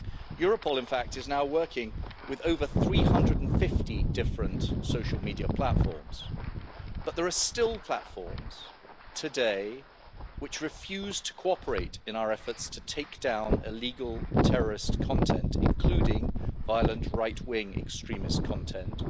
Europol, in fact, is now working with more than 350 different social media platforms, but there are still platforms today which refuse to cooperate in our efforts to take down illegal terrorist content online, including violent right-wing extremist content.